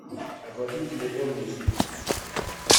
оплатить телефон миши